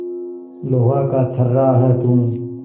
लोहा का छर्रा है तू